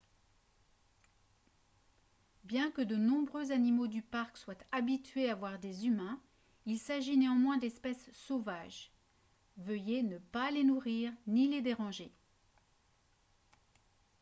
bien que de nombreux animaux du parc soient habitués à voir des humains il s'agit néanmoins d'espèces sauvages veuillez ne pas les nourrir ni les déranger